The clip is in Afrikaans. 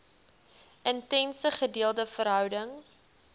intense gedeelde verhouding